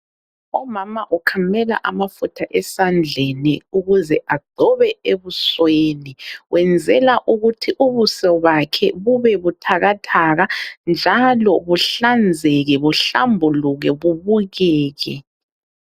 Umama ukhamela amafutha esandleni ukuze agcobe ebusweni. Uyenzela ukuthi ubuso bakhe bube buthakathaka, njalo buhlanzeke ,buhlambuluke ,bubukeke.